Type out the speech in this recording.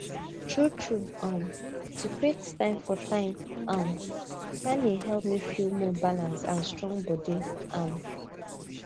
truetrue um to create time for time um planning help me feel more balanced and strong body um